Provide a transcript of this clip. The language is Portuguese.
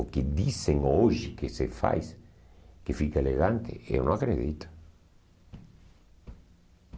O que dizem hoje que se faz, que fica elegante, eu não acredito.